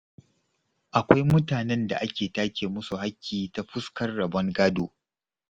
Akwai mutanen da ake take musu haƙƙi ta fuskar rabon gado.